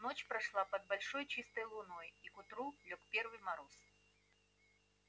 ночь прошла под большой чистой луной и к утру лёг первый мороз